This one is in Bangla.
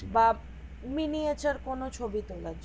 বাপ miniature কোন ছবি তোলা জন্য